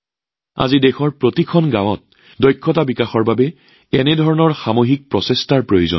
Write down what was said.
আজি দেশৰ প্ৰতিখন গাঁৱতে দক্ষতা বিকাশৰ বাবে এনে সামূহিক প্ৰচেষ্টাৰ প্ৰয়োজন